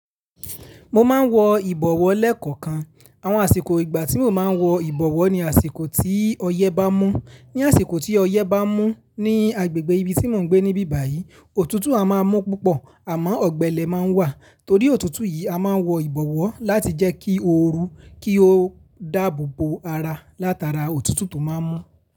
Mo máa ń wọ ìbọ̀wọ́ lẹ́ẹ̀kọ̀kan. Àwọn àsìkò ìgbà tí mo máa ń wọ ìbọ̀wọ́ ni àsìkò tí ọyẹ́ bá mú. Ni àsìkò tí ọyẹ́ bá mú ní agbègbè ibi tí mò ń gbé níbí báyìí, òtútù a máa mú púpọ̀ àmọ́ ọ̀gbẹlẹ̀ máa ń wà. Torí òtútù yìí a máa ń wọ ìbọ̀wọ́ láti jẹ́ kí ó ru, kí ó dàbobo ara látara òtútù tó máa ń mú.